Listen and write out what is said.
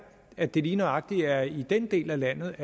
at det lige nøjagtig er i den del af landet